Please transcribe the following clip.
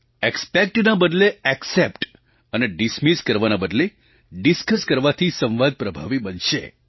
Expectના બદલે એક્સેપ્ટ અને ડિસમિસ કરવાના બદલે ડિસ્કસ કરવાથી સંવાદ પ્રભાવી બનશે